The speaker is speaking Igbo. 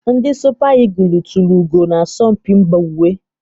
Ndi Supa igụlụ tulu ugo na asọmpi mba ụwa.